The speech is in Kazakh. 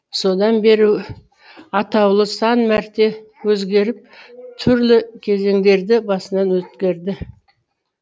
содан бері атаулы сан мәрте өзгеріп түрлі кезеңдерді басынан өткерді